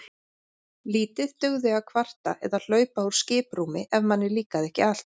Lítið dugði að kvarta eða hlaupa úr skiprúmi ef manni líkaði ekki allt.